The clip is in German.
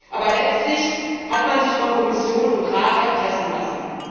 Aber letztlich hat man sich von Kommission und Rat erpressen lassen.